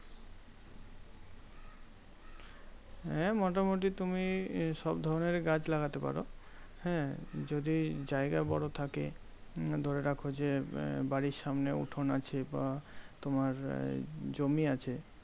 হ্যাঁ মোটামুটি তুমি সব ধরণের গাছ লাগাতে পারো। হ্যাঁ? যদি জায়গা বড় থাকে ধরে রাখো যে, বাড়ির সামনে উঠোন আছে বা তোমার আহ জমি আছে